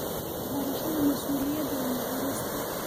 barashada mas'uuliyadda iyo naxariista.